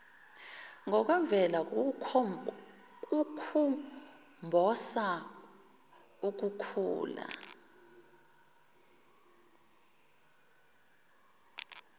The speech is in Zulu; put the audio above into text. ngokwemvelo kukhumbosa ukukhula